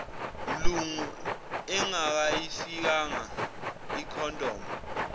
mlungu engakayifakanga icondom